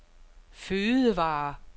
fødevarer